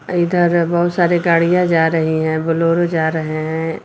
अ इधर बहुत सारी गाड़ियां जा रही हैं बोलेरो जा रहे हैं।